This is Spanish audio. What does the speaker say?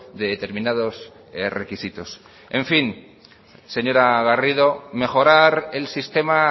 de determinados requisitos en fin señora garrido mejorar el sistema